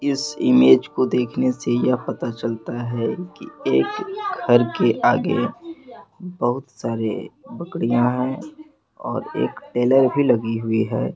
इस इमेज को देखने से ये पता चलता है की एक घर के आगे बहुत सारे लकड़ियां है और एक टेलर भी लगी हुई है।